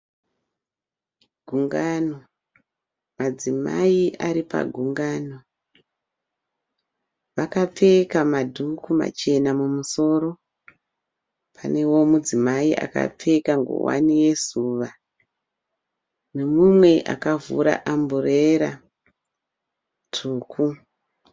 Gungano, madzimai aripa gungano, akapfeka madhuku machena mumusoro, panewo mudzimai akapfeka ngowani yezuva nemumwe akavhura amburera tsvuku.